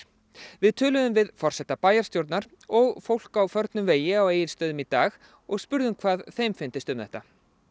við töluðum við forseta bæjarstjórnar og fólk á förnum vegi á Egilsstöðum í dag og spurðum hvað þeim fyndist um þetta